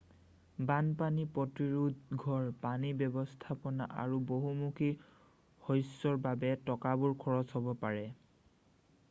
বানপানী-প্ৰতিৰোধ ঘৰ পানী ব্যৱস্থাপনা আৰু বহুমুখী শস্যৰ বাবে টকাবোৰ খৰচ হ'ব পাৰে